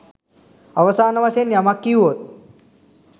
අවසාන වශයෙන් යමක් කීවොත්